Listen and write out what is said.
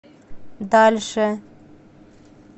дальше